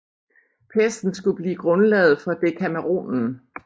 Pesten skulle blive grundlaget for Dekameronen